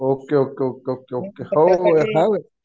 Okay okay okay okay. हो हो.